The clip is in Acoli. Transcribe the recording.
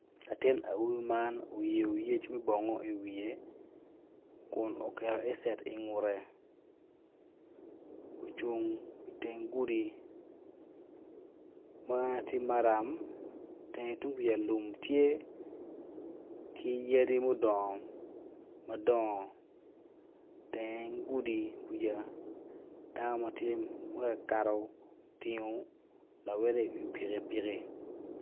Atin awobi man oyeo yec me bongo iwiye kun oketo headset ingute ocung iteng gudi ma tye maram tenge tung kuca lum tye ki yadi mudongo madongo teng gudi kuca dano ma tye ma tye ka kato otingo lawote iwi pikipiki.